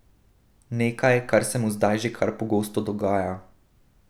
Nekaj, kar se mu zdaj že kar pogosto dogaja.